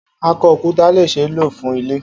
Akọ-okuta le ṣee lo fun ilẹ.